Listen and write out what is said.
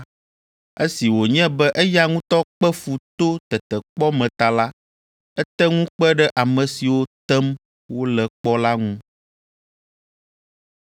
Esi wònye be eya ŋutɔ kpe fu to tetekpɔ me ta la, ete ŋu kpe ɖe ame siwo tem wole kpɔ la ŋu.